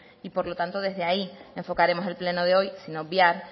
y por lo tanto desde ahí enfocaremos el pleno de hoy sin obviar